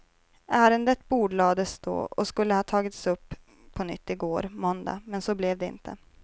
Ärendet bordlades då och skulle ha tagits upp på nytt igår, måndag, men så blev det inte.